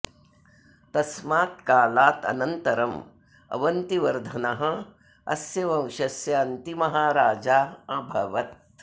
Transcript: तस्मात् कालात् अनन्तरम् अवन्तिवर्धनः अस्य वंशस्य अन्तिमः राजा अभवत्